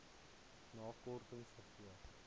na kortings gegee